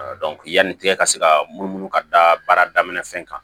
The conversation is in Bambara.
yanni e ka se ka munumunu ka da baara daminɛ fɛn kan